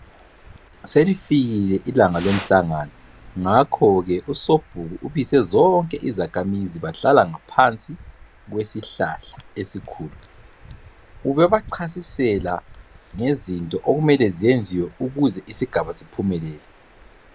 selifikile ilanga lomhlangano ngakho ke usobhuku ubize zonke izakhamizi bahlala ngaphansi kwesihlahla esikhulu ubebachasisela ngezinto okumele zenziwe ukuze isigaba siphumelele